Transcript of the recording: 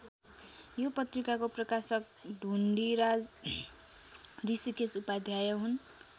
यो पत्रिकाको प्रकाशक ढुण्डिराज ऋषिकेश उपाध्याय हुन्।